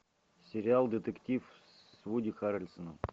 сериал детектив с вуди харрельсоном